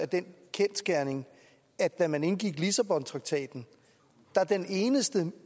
den kendsgerning at da man indgik lissabontraktaten var den eneste